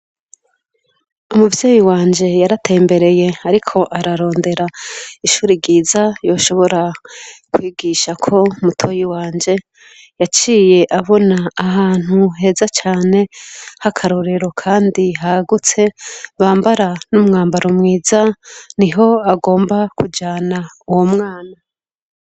Umuvyeyi wanje yaratembereye ariko ararondera ishure ryiza yoshobora kwigishako mutoyi wanje yaciye abona ahantu heza cane hakarorero kandi hagutse bambara n'umwambaro mwiza niho agomba kujana uwo mwana.